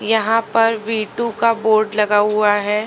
यहां पर V two का बोर्ड लगा हुआ है।